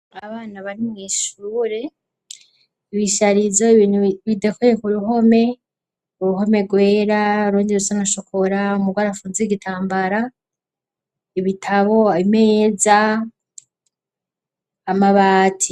Abana bari mw'ishuure ibisharizo ibintu bidakweyeka uruhome uruhome rwera rundi rusanashokora umugoarafunze 'igitambara ibitabo ameza amabati.